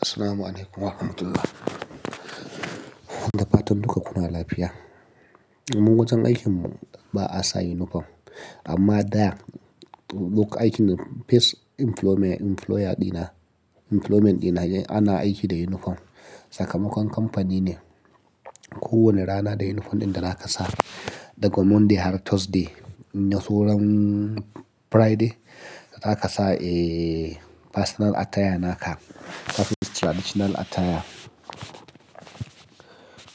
Assalamualaikum warahmatullahi wabarakatuh. Da fatan duka kuna lafiya. Ni mun wajen aikin mu ba a sa uniform amma da duk aikin face employment, employer dina employment dina ana aiki da uniform. Sakamakon kamfani ne kowane rana da uniform ɗin da za ka sa daga Monday har Thursday, inyaso ran Friday za ka sa, eh, personal attire naka kafin traditional attire.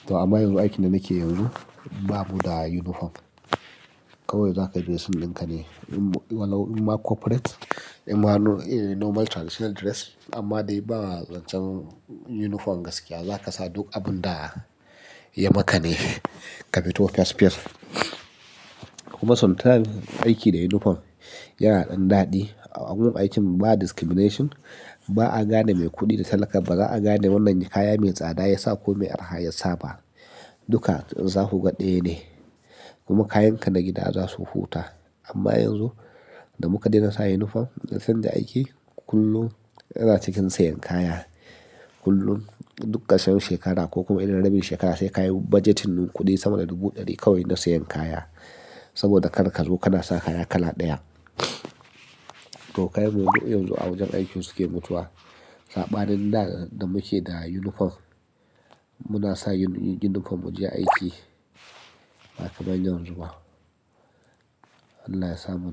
To amma yanzu aikin da nake yanzu babu da uniform. Kawai za ka je sin ɗin ka ne, imma corporate, imma normal traditional dress amma dai ba zancen uniform gaskiya za ka sa duk abin da ya maka ne kafito fes fes kuma sometimes aiki da uniform yana ɗan daɗi. A gun aikin ba discrimination, ba a gane mai kuɗi da talaka ba, ba za a gane wannan kaya mai tsada ya sa ko me araha ya sa ba. Duka za ku ga ɗaya ne. Kuma kayanka na gida za su huta. Amma yanzu da muka dena sa uniform, zan je aiki kullum yana cikin sayan kaya. Kullum duk ƙarshen shekara ko kuma idan rabi shekara sai ka yi budgetin kuɗi sama da dubu ɗari kawai na sayan kaya. Saboda karka zo kana sa kaya kala ɗaya. To kayan mu na kudi yanzu a wajen aikin suke mutuwa. Saɓanin da da muke da uniform muna sa uniform mu je aiki, baka man yanzu ba. Allah ya sa mu.